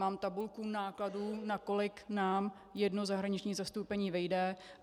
Mám tabulku nákladů, na kolik nám jedno zahraniční zastoupení vyjde.